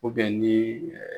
ni